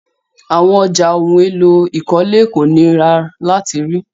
Àwọn ọ̀já ohun èlò ìkọ́lé kò ní rà láti rí.